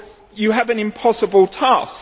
You have an impossible task.